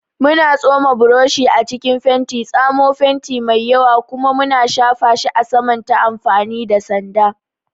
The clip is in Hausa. Muna tsoma burushi a cikin fenti, tsamo fenti mai yawa, kuma muna shafa shi a saman ta amfani da sanda.